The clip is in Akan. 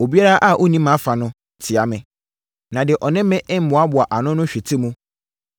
“Obiara a ɔnni mʼafa no, tia me. Na deɛ ɔne me mmoaboa ano no hwete mu.